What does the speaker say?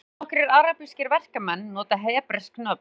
Allnokkrir arabískir verkamenn nota hebresk nöfn